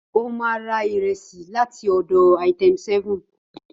Ó ma ra ìrẹsì láti ọ̀dọ̀ Item7.